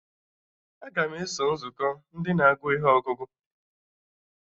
Aga m eso nzukọ Ndị na-agụ ihe ọgụgụ